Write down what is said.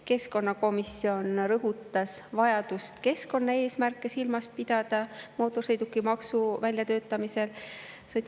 Keskkonnakomisjon rõhutas vajadust pidada mootorsõidukimaksu väljatöötamisel silmas keskkonnaeesmärke.